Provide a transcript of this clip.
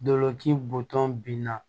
Dolɔki bɔtɔ binna